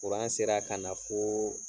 sera ka na foo